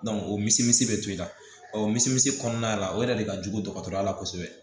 o misimisi bɛ to i la ɔ o minisiriso la o yɛrɛ de ka jugu dɔgɔtɔrɔya la kosɛbɛ